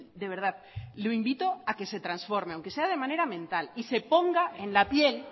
de verdad le invito a que se transforme aunque sea de manera mental y se ponga en la piel